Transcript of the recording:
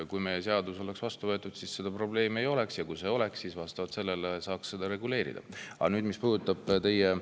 Kui meie seadus oleks vastu võetud, siis seda probleemi ei oleks, ja kui see oleks, siis vastavalt sellele saaks seda reguleerida.